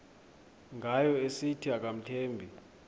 ngayo esithi akamthembi